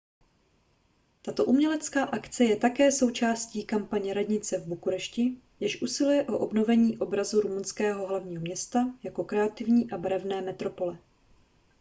tato umělecká akce je také součástí kampaně radnice v bukurešti jež usiluje o obnovení obrazu rumunského hlavního města jako kreativní a barevné metropole